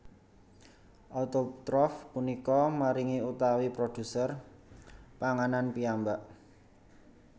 Autotrof punika maringi utawi produser panganan piyambak